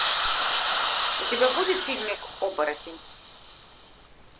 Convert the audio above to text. у тебя будет фильмик оборотень